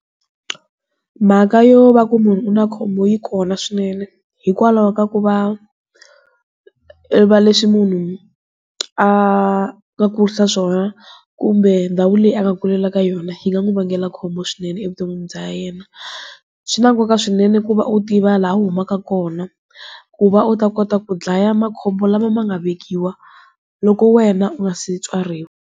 Mhaka yo va ku munhu u na khombo yi kona swinene. Hikwalaho ka ku va leswi munhu, a nga kurisa swona, kumbe ndhawu leyi a nga kulela ka yona hi nga n'wi vangela khombo swinene evuton'wini bya yena. Swi na nkoka swinene ku va u tiva laha u humaka kona. Ku va u ta kota ku dlaya makhombo lama ma nga vekiwa, loko wena u nga se tswariwa.